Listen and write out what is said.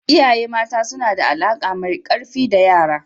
Iyaye mata suna da alaƙa mai ƙarfi da yara.